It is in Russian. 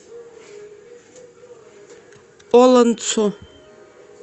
олонцу